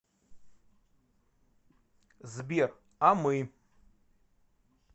сбер а мы